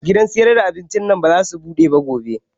Gidan sayar da abincin nan ba zasu buɗe gobe ba